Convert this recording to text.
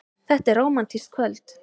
Þetta er rómantískt kvöld.